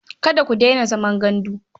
Kada ku daina zaman gandu.